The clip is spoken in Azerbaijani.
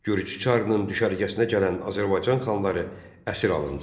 Gürcü çarının düşərgəsinə gələn Azərbaycan xanları əsir alındı.